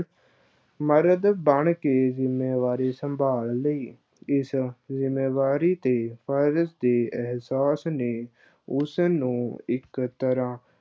ਮਰਦ ਬਣ ਤੇ ਜ਼ਿੰਮੇਵਾਰੀ ਸੰਭਾਲ ਲਈ, ਇਸ ਜ਼ਿੰਮੇਵਾਰੀ ਤੇ ਫਰਜ਼ ਦੇ ਅਹਿਸਾਸ ਨੇ ਉਸ ਨੂੰ ਇੱਕ ਤਰ੍ਹਾਂ